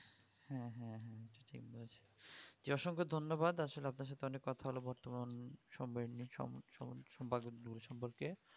জী অসংখ ধন্যবাদ আসলে আপনার সাথে অনেক কথা হলো বর্তমান সংবয়ন নিয়ে সম্পর্কে